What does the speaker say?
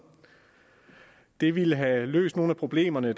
det ville have løst nogle af problemerne